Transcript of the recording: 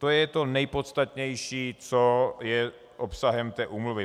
To je to nejpodstatnější, co je obsahem té úmluvy.